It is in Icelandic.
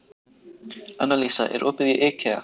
Annalísa, er opið í IKEA?